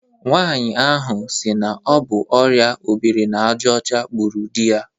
Nwanyi ahụ si na ọbụ ọria obiri n'aja ọcha gbụrụ di ya